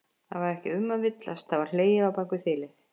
Það var ekki um að villast, það var hlegið á bak við þilið!